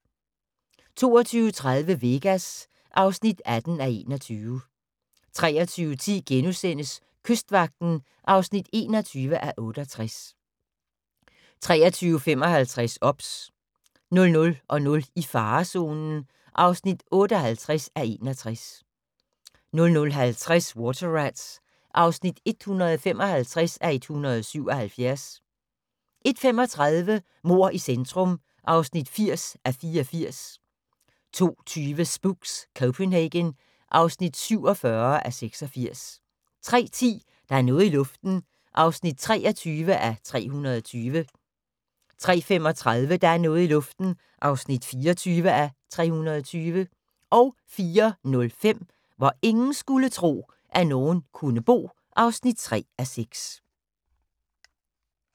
22:30: Vegas (18:21) 23:10: Kystvagten (21:68)* 23:55: OBS 00:00: I farezonen (58:61) 00:50: Water Rats (155:177) 01:35: Mord i centrum (80:84) 02:20: Spooks: Copenhagen (47:86) 03:10: Der er noget i luften (23:320) 03:35: Der er noget i luften (24:320) 04:05: Hvor ingen skulle tro, at nogen kunne bo (3:6)